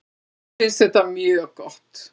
Mér finnst þetta mjög gott.